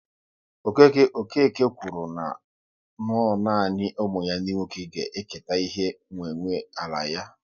Okeke kwuru na no nanị ụmụ ya ndị nwoke ga-eketa ihe nwe nwe ala ya